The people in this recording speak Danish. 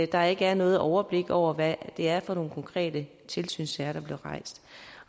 der ikke er noget overblik over hvad det er for nogle konkrete tilsynssager der bliver rejst